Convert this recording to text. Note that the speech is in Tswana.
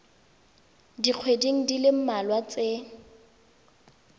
dikgweding di le mmalwa tse